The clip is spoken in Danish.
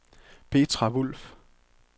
Petra Wulff